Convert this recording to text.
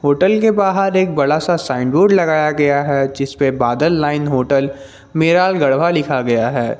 Hotel के बाहर एक बड़ा सा साइन बोर्ड लगाया गया हैं जिसपे बादल लाईन होटल मेराल गढ़वा लिखा गया है।